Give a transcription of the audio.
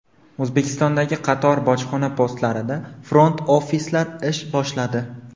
O‘zbekistondagi qator bojxona postlarida front-ofislar ish boshladi.